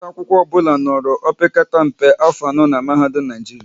Nwata akwụkwọ ọbụla nọrọ opekata mpe afọ anọ n'mahadum Naijiria